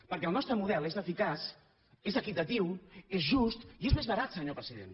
perquè el nostre model és eficaç és equitatiu és just i és més barat senyor president